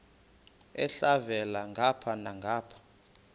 elhavela ngapha nangapha